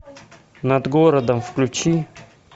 над городом включи